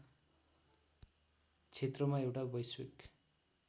क्षेत्रमा एउटा वैश्विक